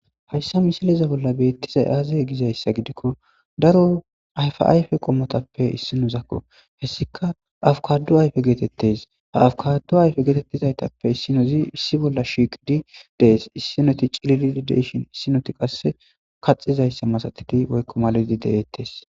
hayssa misileza bolla beettizay aazey gizayssa gidikko daro ayfa ayfe qommotappe issi nuzakko hessika afukadu ayfe geetettes ha afkadu ayfe geetettizaytappe issinozi issi bolla shiiqidi dees issinoti ciliiideshon issinoti qasse kaxizayssa masatidi woykko maladi deeettes